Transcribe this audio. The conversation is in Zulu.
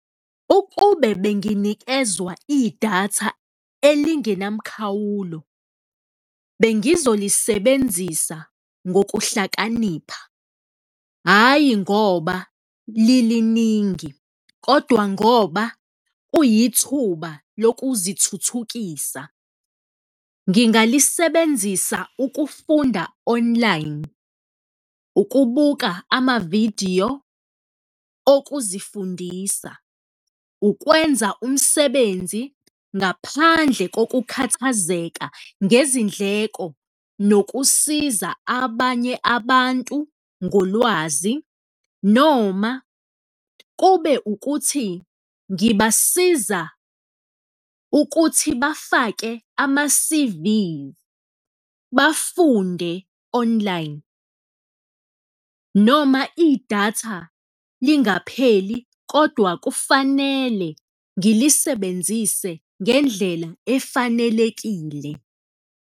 Ukube benginikezwa idatha elingenamkhawulo, bengizolisebenzisa ngokuhlakanipha, hhayi ngoba liliningi kodwa ngoba kuyithuba lokuzithuthukisa. Ngingalisebenzisa ukufunda online, ukubuka amavidiyo okuzifundisa, ukwenza umsebenzi ngaphandle kokukhathazeka ngezindleko nokusiza abanye abantu ngolwazi noma kube ukuthi ngibasiza ukuthi bafake ama-C_Vs, bafunde online. Noma idatha lingapheli kodwa kufanele ngilisebenzise ngendlela efanelekile.